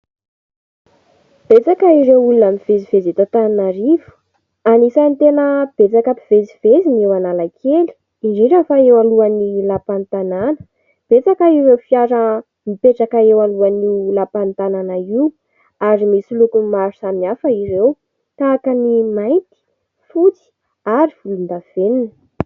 Betsaka ireo olona mivezivezy eto Antananarivo. Anisan'ny tena betsaka mpivezivezy eo Analakely, indrindra fa eo alohan'ny lampan'ny tanàna, betsaka ireo fiara mipetraka eo alohan'io lampan'ny tanàna io ary misy lokony maro samihafa ireo tahaka ny mainty, fotsy ary volondavenona.